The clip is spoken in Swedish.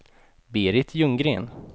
Berit Ljunggren